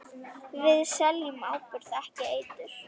Við seljum áburð, ekki eitur.